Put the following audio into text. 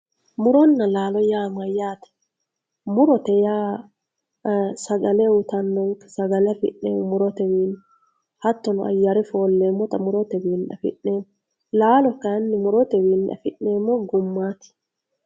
Muronna lalo ya mayate murote ya sagale uyitanonke sagale afinemi murotewinni hatono ayare folemota muroyeeinni afinemo lalo kayinni muretewinni afinemo gummati